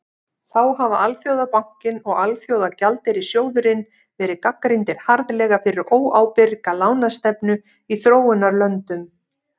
þá hafa alþjóðabankinn og alþjóðagjaldeyrissjóðurinn verið gagnrýndir harðlega fyrir óábyrga lánastefnu í þróunarlöndum